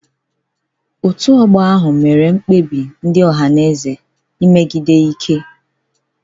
Otu ọgbọ ahụ mere mkpebi ndị Ohanaeze megide Ike.